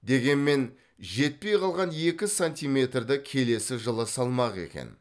дегенмен жетпей қалған екі сантиметрді келесі жылы салмақ екен